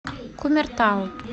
кумертау